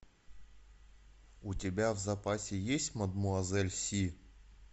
у тебя в запасе есть мадемуазель си